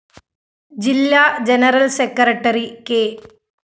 ജില്ലാ general secretary K